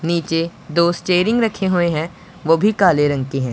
नीचे दो स्टेरिंग रखे हुए हैं वो भी काले रंग के है।